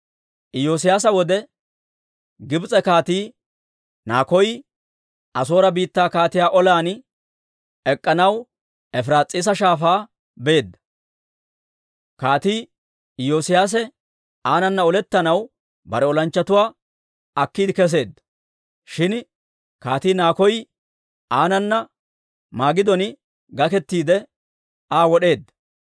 Iyoosiyaasa wode Gibs'e Kaatii Nakoy, Asoore biittaa kaatiyaa olan ek'k'anaw Efiraas'iisa Shaafaa beedda. Kaatii Iyoosiyaase aanana olettanaw bare olanchchatuwaa akkiide kesseedda; shin Kaatii Nakoy aanana Magidon gakettiide, Aa wod'eedda.